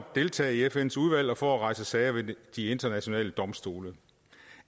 deltage i fns udvalg og for at rejse sager ved de internationale domstole